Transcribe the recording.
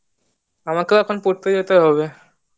আমাকেও এখন পড়তে যেতে হবে